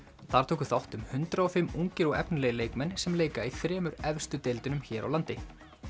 þar tóku þátt um hundrað og fimm ungir og efnilegir leikmenn sem leika í þremur efstu deildunum hér á landi